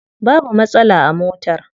Babu matsala a motar.